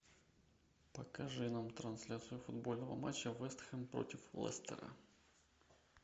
покажи нам трансляцию футбольного матча вест хэм против лестера